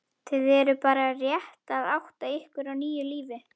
Þið eruð bara rétt að átta ykkur á nýju lífi.